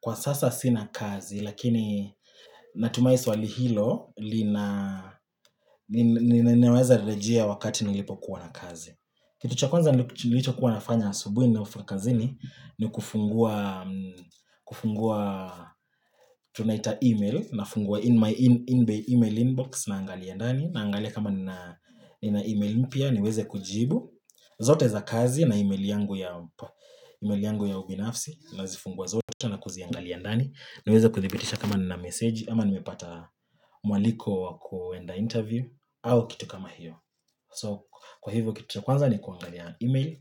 Kwa sasa sina kazi, lakini natumaini swali hilo linaweza kurejelea wakati ninapokuwa na kazi. Kitu cha kwanza nilichokuwa nafanya asubuhi ninapofika kazini, ni kufungua kufungua tunaita email, nafungua in my email inbox na angaliandani, na angali kama nina email impia, niweze kujibu. Zote za kazi na email yangu ya ubinafsi, na zifungua zote na kuziangaliandani. Niweza kuthibitisha kama na meseji ama nimepata mwaliko wa kuenda interview au kitu kama hiyo. So kwa hivyo kitu kwanza ni kuangalia email